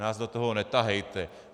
Nás do toho netahejte.